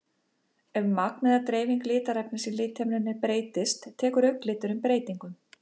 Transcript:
Ef magn eða dreifing litarefnis í lithimnunni breytist tekur augnliturinn breytingum.